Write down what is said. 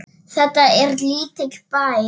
Þetta er lítill bær.